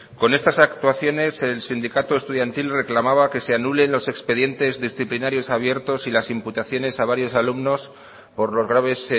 con estas actuaciones el sindicato estudiantil reclamaba que se anulen los expedientes disciplinarios abiertos y las imputaciones a varios alumnos por los graves